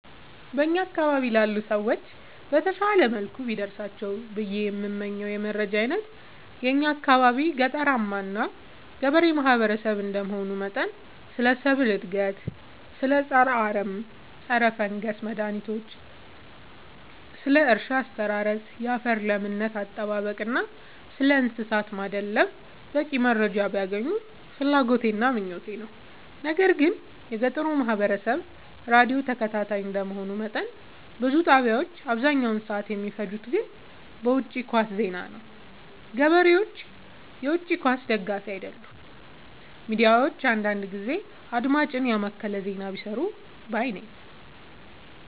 በእኛ አካባቢ ላሉ ሰዎች በተሻለ መልኩ ቢደርሳቸው ብዬ የምመኘው የመረጃ አይነት የእኛ አካባቢ ገጠራማ እና ገበሬ ማህበሰብ እንደመሆኑ መጠን ስለ ሰብል እድገት ስለ ፀረ አረም ፀረፈንገስ መድሀኒቶች ስለ እርሻ አስተራረስ ያፈር ለምነት አጠባበቅ እና ስለእንሰሳት ማድለብ በቂ መረጃ ቢያገኙ ፍላጎቴ እና ምኞቴ ነው። ነገር ግን የገጠሩ ማህበረሰብ ራዲዮ ተከታታይ እንደ መሆኑ መጠን ብዙ ጣቢያዎች አብዛኛውን ሰዓት የሚፈጅት ግን በውጪ ኳስ ዜና ነው። ገበሬ የውጪ ኳስ ደጋፊ አይደለም ሚዲያዎች አንዳንዳንድ ጊዜ አድማጭን የማከለ ዜና ቢሰሩ ባይነኝ።